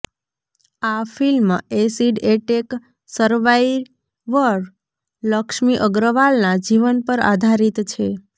આ film acid attack survivor Laxmi અગ્રવાલના જીવન પર આધારિત છે